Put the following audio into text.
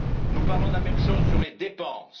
Nous parlons de la même chose sur les dépenses.